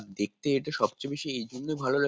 দেখতে এটা সবচেয়ে বেশি এইজন্যেই ভালো লাগ --